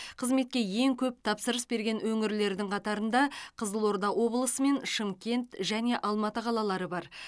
қызметке ең көп тапсырыс берген өңірлердің қатарында қызылорда облысы мен шымкент және алматы қалалары бар